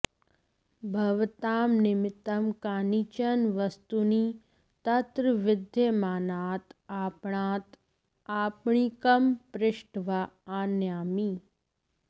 भवतां निमित्तं कानिचन वस्तूनि तत्र विद्यमानात् आपणात् आपणिकं पृष्ट्वा आनयामि